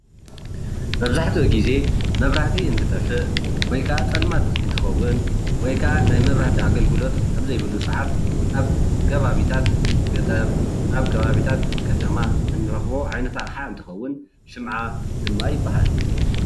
መብዛሕትኡ ግዜ መብራህቲ እንትጠፍእ ወይከዓ ፀልማቴ እንትኸውን ወይ ከዔ መብራህቲ አገልጎሎት ከኣብ ዘይብሉ ሰዓት ኣብ ኸባቢ ገጠር ወይኣብ ከባብታት ኸተማ እንረኽቦ ኣቅሓ ሽምዓ ይበሃል።